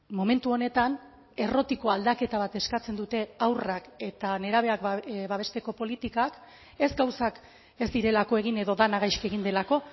momentu honetan errotiko aldaketa bat eskatzen dute haurrak eta nerabeak babesteko politikak ez gauzak ez direlako egin edo dena gaizki egin delako